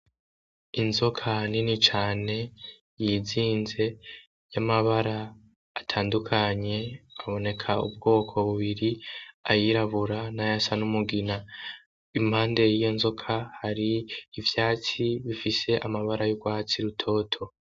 Inzoka nini cane yizinze y'amabara atandukanye, haboneka ubwoko bubiri; ayirabura; nay'asa n'umugina. Impande y'iyo nzoka hari ivyatsi bifise amabara y'ugwatsi rutoto.